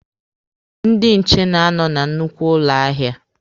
Ndị nche na-anọ na nnukwu ụlọ ahịa.